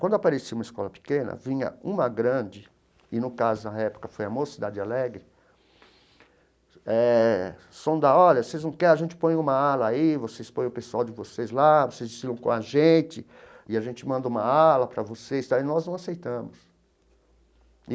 Quando aparecia uma escola pequena, vinha uma grande, e no caso, na época, foi a Mocidade Alegre eh, sondar, olha, vocês não querem a gente ponha uma ala aí, vocês põem o pessoal de vocês lá, vocês ensinam com a gente, e a gente manda uma ala para vocês tal, e nós não aceitamos.